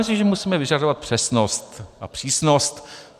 Myslím, že musíme vyžadovat přesnost a přísnost.